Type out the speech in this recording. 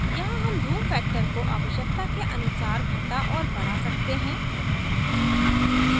यहाँ हम zoom factor को आवशयकता के अनुसार घटा और बड़ा सकते हैं